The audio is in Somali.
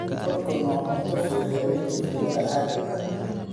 Popcorn waa cunto fudud habeenkii filimada caadiga ah.